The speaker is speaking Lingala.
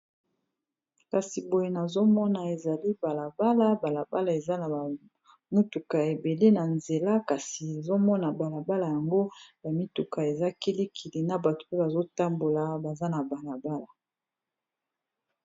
kasi boye nazomona ezali balabala balabala eza na bamituka ebele na nzela kasi ezomona balabala yango bamituka ezakilikili na bato mpe bazotambola baza na balabala